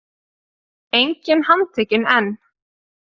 Enginn handtekinn enn